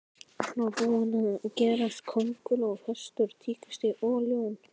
Hann var tilbúinn að gerast kónguló, hestur, tígrisdýr og ljón.